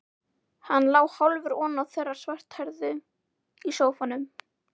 Hann lá hálfur ofan á þeirri svarthærðu í sófanum.